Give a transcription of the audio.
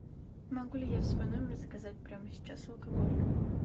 могу ли я в свой номер заказать прямо сейчас алкоголь